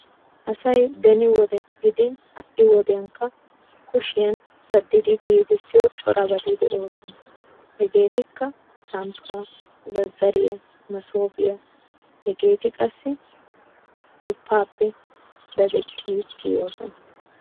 Asay beni wode gidin ha"i wodiyankka kushiya daddidi giigissiyo corabati de'oosona. Hegeetikka:- samppaa, zazzariya, masoofiya hageeti qassi duppaappe dadettidi kiyoosona.